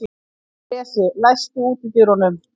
Bresi, læstu útidyrunum.